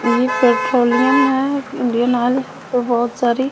ये पेट्रोलियम है Indian Oil यहाँ पे बोहोत सारी --